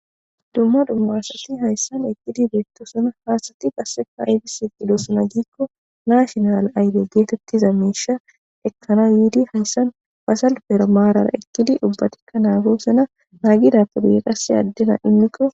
Dumma dumma asati hayssan ekkidi beettosona. Ha asati qasseka ayibis eqqidosona giikko naashinal ayide geetettiza miisha ekkana yiidi hayssan ba salipera maarara ekkidi ubbatikka naagosona. Naagidappe guyen qassi addina immikko.